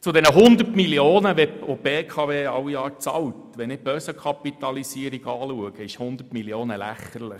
Zu den von der BKW alle Jahre bezahlten 100 Mio. Franken: Wenn ich mir die Börsenkapitalisierung anschaue, sind 100 Mio. Franken lächerlich.